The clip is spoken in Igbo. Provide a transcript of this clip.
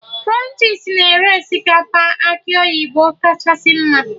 Krunchis na-ere osikapa akị oyibo kachasị mma